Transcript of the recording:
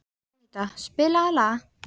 Eníta, spilaðu lag.